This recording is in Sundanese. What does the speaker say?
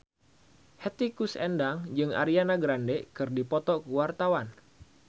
Hetty Koes Endang jeung Ariana Grande keur dipoto ku wartawan